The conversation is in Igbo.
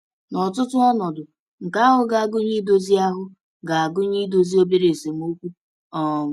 N’ọtụtụ ọnọdụ, nke ahụ ga-agụnye idozi ahụ ga-agụnye idozi obere esemokwu. um